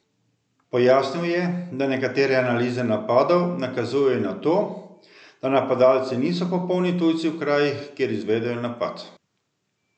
Pojasnil je, da nekatere analize napadov nakazujejo na to, da napadalci niso popolni tujci v krajih, kjer izvedejo napad.